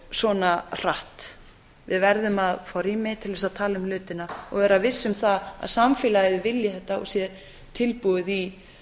svona hratt við verðum að fá rými til þess að tala um hlutina og vera viss um það að samfélagið vilji þetta og sé tilbúið í